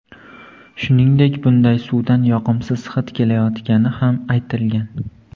Shuningdek, bunday suvdan yoqimsiz hid kelayotgani ham aytilgan.